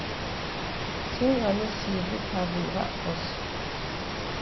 сен ана сиырды табынға қос